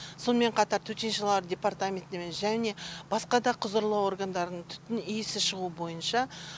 сонымен қатар төтеншалар департаментіне және басқа да құзырлы органдарының түтін иісі шығуы бойынша